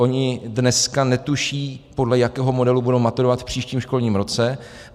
Oni dneska netuší, podle jakého modelu budou maturovat v příštím školním roce.